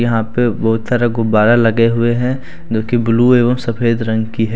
यहां पे बहुत सारा गुब्बारा लगे हुए हैं जो कि ब्लू एवं सफेद रंग की है।